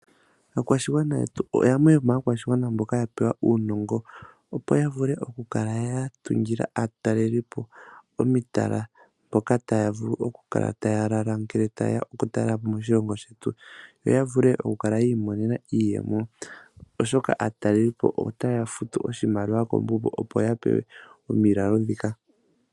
Aakwashigwana yetu yamwe yoma akwashigwana mboka yapewa aanongo, opo yavule oku kala ya tungila aatalelipo omitala mpoka taya vulu oku kala taya lala ngele taye ya oku talelapo moshilongo shetu, yo yavule oku kala yiimonena iiyemo oshoka aatalelipo otaya futu opo ya pewe omiilalo dhika.